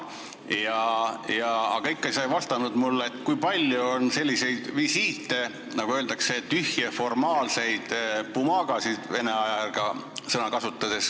Aga sa ikka ei vastanud mulle, kui palju on selliseid visiite, nagu öeldakse, tühje, formaalseid pumaagasid, kui vene aja sõna kasutada.